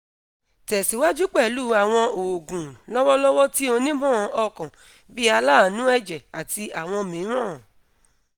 tẹ̀síwájú pẹ̀lú àwọn oògùn lọ́wọ́lọ́wọ́ tí onímọ̀ ọkàn bí aláàánú ẹ̀jẹ̀ àti àwọn mìíràn